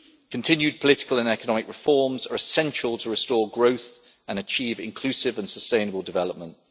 Continued political and economic reforms are essential to restore growth and achieve inclusive and sustainable development.